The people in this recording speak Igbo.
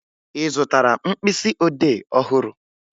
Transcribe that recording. Ị zụtara mkpịsịodee ọhụrụ?